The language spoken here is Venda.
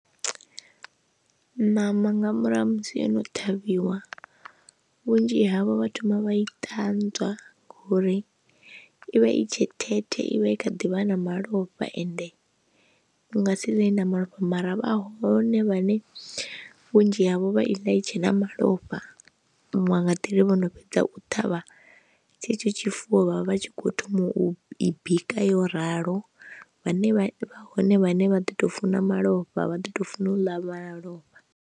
Ṋama nga murahu ha musi ono ṱhavhiwa vhunzhi havho vha thoma vha i ṱanzwa ngori ivha i tshe thethe ivha i kha ḓivha na malofha ende ndi nga si ḽe ina malofha, mara vha hone vhane vhunzhi havho vha i ḽa i tshena malofha nwa nga nḓila vho no fhedza u ṱhavha tshetsho tshifuwo vhavha vhatshi kho thoma u i bika yo ralo, vhane hone vhane vha ḓo tou funa malofha vha ḓo tou funa u ḽa malofha.